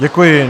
Děkuji.